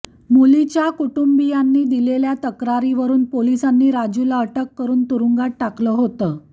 मुलीच्या कुटुंबीयांनी दिलेल्या तक्रारीवरून पोलिसांनी राजूला अटक करून तुरुंगात टाकलं होतं